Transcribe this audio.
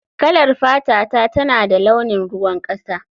Kalar fatata tana da launin ruwan kasa